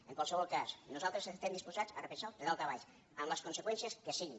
en qualsevol cas nosaltres estem disposats a repensar ho de dalt a baix amb les conseqüències que siguin